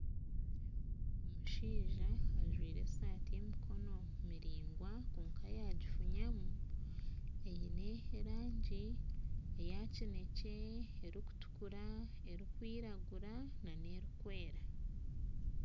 Omushaija ajwaire esaati y'emikono miraigwa kwonka yagifunyamu eine erangi eya kinekye erikutuukura, erikwiragura na n'erikwera.